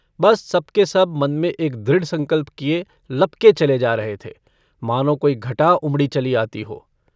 बस सबकेसब मन में एक दृढ़ संकल्प किये लपके चले जा रहे थे मानो कोई घटा उमड़ी चली आती हो।